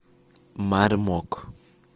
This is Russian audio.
мармок